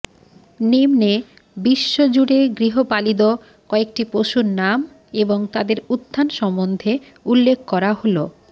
নিন্মে বিশ্বজুড়ে গৃহপালিদ কয়েকটি পশুর নাম এবং তাদের উত্থান সম্বন্ধে উল্লেখ করা হলঃ